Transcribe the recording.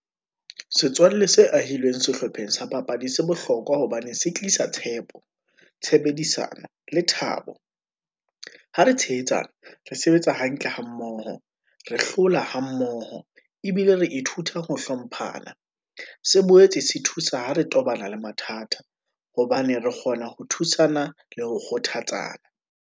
Setswalle se ahileng sehlopheng sa papadi se bohlokwa, hobane se tlisa tshepo, tshebedisano le thabo. ha re tshehetsana re sebetsa hantle ha mmoho, re hlola ha mmoho, ebile re ithuta ho hlomphana. Se boetse se thusa ho re tobana le mathata, hobane re kgona ho thusana le ho kgothatsa.